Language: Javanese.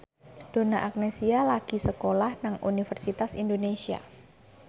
Donna Agnesia lagi sekolah nang Universitas Indonesia